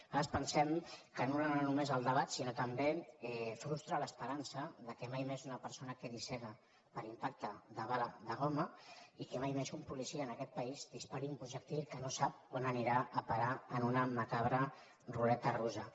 nosaltres pensem que anul·la no només el debat sinó que també frustra l’esperança que mai més una persona quedi cega per impacte de bala de goma i que mai més un policia en aquest país dispari un projectil que no sap on anirà a parar en una macabra ruleta russa